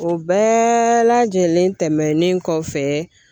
O bɛɛ lajɛlen tɛmɛnen kɔfɛ